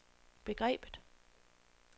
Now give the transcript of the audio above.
begrebet